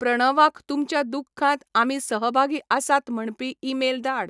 प्रणवाक तुमच्या दुखांत आमी सहभागी आसात म्हणपी ईमेल धाड